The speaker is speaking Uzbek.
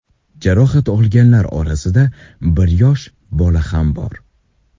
Jarohat olganlar orasida bir yosh bola ham bor.